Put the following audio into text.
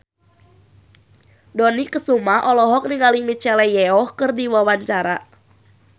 Dony Kesuma olohok ningali Michelle Yeoh keur diwawancara